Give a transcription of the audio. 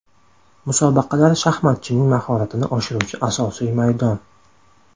Musobaqalar shaxmatchining mahoratini oshiruvchi asosiy maydon.